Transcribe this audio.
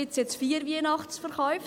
Gibt es vier Weihnachtsverkäufe?